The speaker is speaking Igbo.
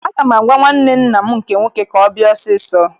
Aga m agwa nwanne nna m nke nwoke ka ọ bịa ọsọ ọsọ!